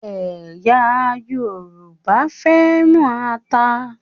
Ẹ̀yà Yorùbá fẹ́ràn ata.